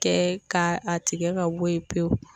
Kɛ ka a tigɛ ka bɔ ye pewu